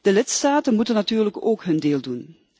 De lidstaten moeten natuurlijk ook hun deel doen.